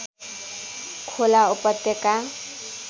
खोला उपत्यका